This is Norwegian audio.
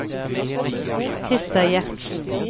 Christer Gjertsen